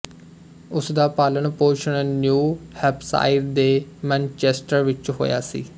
ਉਸ ਦਾ ਪਾਲਣ ਪੋਸ਼ਣ ਨਿਊ ਹੈਂਪਸ਼ਾਇਰ ਦੇ ਮੈਨਚੇਸਟਰ ਵਿੱਚ ਹੋਇਆ ਸੀ